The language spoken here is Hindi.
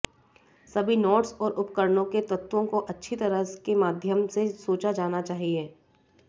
सभी नोड्स और उपकरणों के तत्वों को अच्छी तरह के माध्यम से सोचा जाना चाहिए